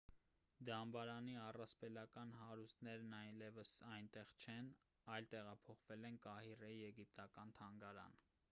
դամբարանի առասպելական հարուստներն այլևս այնտեղ չեն այլ տեղափոխվել են կահիրեի եգիպտական թանգարան